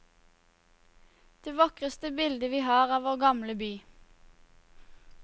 Det vakreste bilde vi har av vår gamle by.